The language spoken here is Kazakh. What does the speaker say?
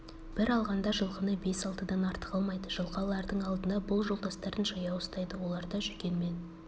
бір алғанда жылқыны бес-алтыдан артық алмайды жылқы алардың алдында бұл жолдастарын жаяу ұстайды оларда жүген мен